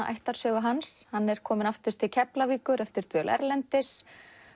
ættarsögu hans hann er kominn aftur til Keflavíkur eftir dvöl erlendis